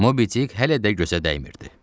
Mobidik hələ də gözə dəymirdi.